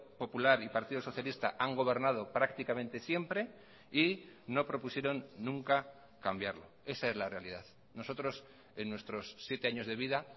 popular y partido socialista han gobernado prácticamente siempre y no propusieron nunca cambiarlo esa es la realidad nosotros en nuestros siete años de vida